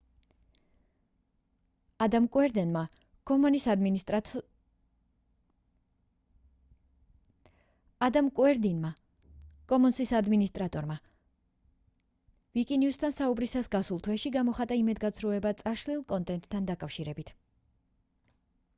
ადამ კუერდენმა commons-ის ადმინისტრატორმა ვიკინიუსთან საუბრისას გასულ თვეში გამოხატა იმედგაცრუება წაშლილ კონტენტთან დაკავშირებით